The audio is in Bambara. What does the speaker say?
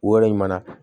Yɔrɔ ɲuman na